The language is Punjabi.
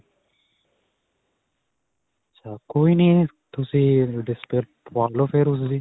ਅੱਛਾ ਕੋਈ ਨਹੀਂ ਤੁਸੀਂ display ਪਵਾ ਲਵੋ ਫਿਰ ਓਸਦੀ.